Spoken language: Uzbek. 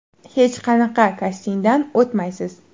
Hech qanaqa kastingdan o‘tmaysiz.